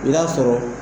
I b'a sɔrɔ